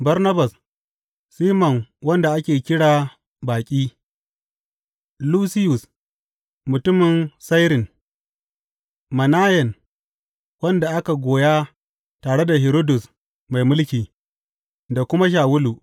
Barnabas, Siman wanda ake kira Baƙi, Lusiyus mutumin Sairin, Manayen wanda aka goya tare da Hiridus mai mulki, da kuma Shawulu.